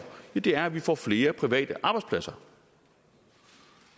er at vi får flere private arbejdspladser